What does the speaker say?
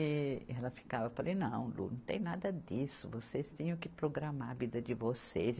E ela ficava, eu falei, não, Lu, não tem nada disso, vocês tinham que programar a vida de vocês.